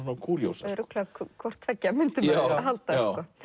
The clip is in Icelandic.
kúríósa örugglega hvort tveggja myndi maður halda